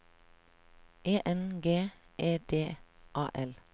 E N G E D A L